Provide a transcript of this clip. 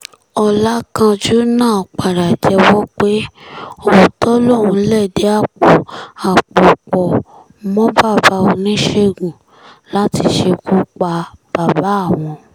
ọ̀làkánjú náà padà jẹ́wọ́ pé òótọ́ lòun lẹ̀dí àpò àpò pọ̀ mọ́ bàbá oníṣègùn láti ṣekú pa bàbá àwọn